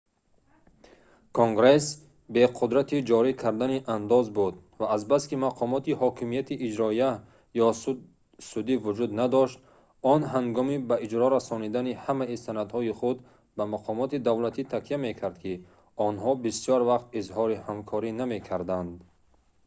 конгресс бе қудрати ҷорӣ кардани андоз буд ва азбаски мақомоти ҳокимияти иҷроия ё судӣ вуҷуд надошт он ҳангоми ба иҷро расонидани ҳамаи санадҳои худ ба мақомоти давлатӣ такя мекард ки онҳо бисёр вақт изҳори ҳамкорӣ намекарданд